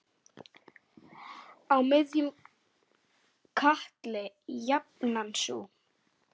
Á miðjum katli jafnan sú.